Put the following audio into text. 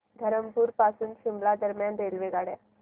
धरमपुर पासून शिमला दरम्यान रेल्वेगाड्या